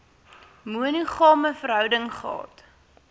monogame verhouding gehad